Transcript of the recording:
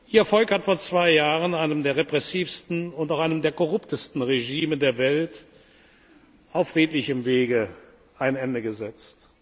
Ihr Volk hat vor zwei Jahren einem der repressivsten und auch einem der korruptesten Regime der Welt auf friedlichem Wege ein Ende gesetzt.